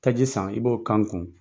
Taji san i b'o k'an kun.